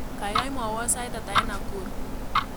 Gaigai mwawon sait ata eng Nakuru